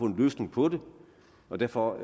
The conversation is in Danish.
en løsning på den og derfor